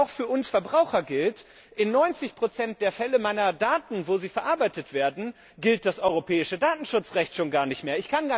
Denn auch für uns Verbraucher gilt in 90 der Fälle, wo meine Daten verarbeitet werden, gilt das europäische Datenschutzrecht schon gar nicht mehr.